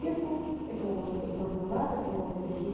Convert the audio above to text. клетку это может быть мармелад это может быть